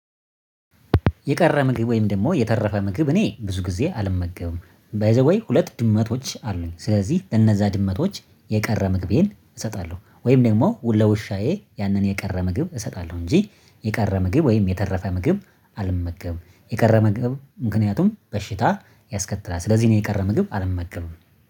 የቀረ ምግብ ወይም ደግሞ የተረፈ ምግብ እኔ ብዙ ጊዜ አልመገብም። ባይ ዘ ዌይ ሁለት ድመቶች አሉኝ ስለዚህ ለነዛ ድመቶች የቀረ ምግቤን እሰጣለሁ። ወይም ደግሞ ለውሻዬ ያንን የቀረ ምግብ እሰጣለሁ እንጂ የቀረ ምግብ ወይም የተረፈ ምግብ አልመገብም። የቀረ ምግብ ምክንያቱም በሽታ ያስከትላል። ስለዚህ ነው የቀረ ምግብ አልመገብም